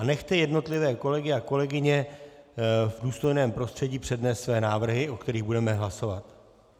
A nechte jednotlivé kolegy a kolegyně v důstojném prostředí přednést své návrhy, o kterých budeme hlasovat.